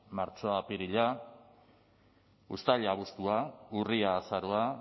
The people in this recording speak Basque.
martxoa apirila uztaila abuztua urria azaroa